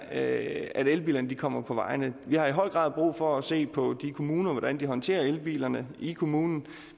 at elbilerne kommer på vejene vi har i høj grad brug for at se på kommunerne og hvordan de håndterer elbilerne i kommunerne